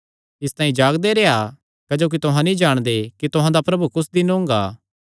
इसतांई जागदे रेह्आ क्जोकि तुहां नीं जाणदे कि तुहां दा प्रभु कुस दिन ओंगा